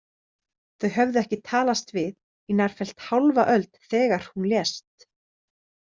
Þau höfðu ekki talast við í nærfellt hálfa öld þegar hún lést.